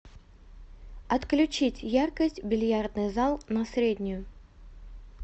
отключить яркость бильярдный зал на среднюю